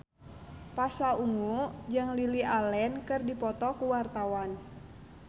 Pasha Ungu jeung Lily Allen keur dipoto ku wartawan